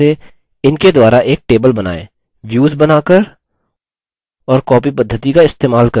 इनके द्वारा एक table बनाएँ